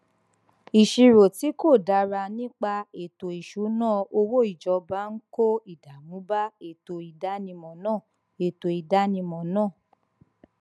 ìṣirò tí kò dára nípa ètò ìṣúnná owó ìjọba ń kó ìdààmú bá ètò ìdánimọ náà ètò ìdánimọ náà